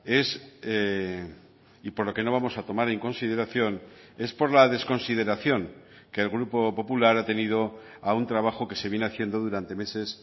es y por lo que no vamos a tomar en consideración es por la desconsideración que el grupo popular ha tenido a un trabajo que se viene haciendo durante meses